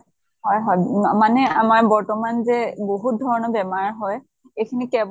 হয় হয় মানে আমাৰ বৰ্তমান যে বহুত ধৰণৰ বেমাৰ হয় এইখিনি